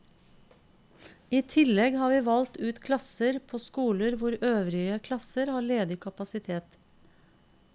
I tillegg har vi valgt ut klasser på skoler hvor øvrige klasser har ledig kapasitet.